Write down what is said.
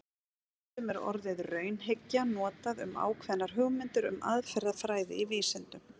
Stundum er orðið raunhyggja líka notað um ákveðnar hugmyndir um aðferðafræði í vísindum.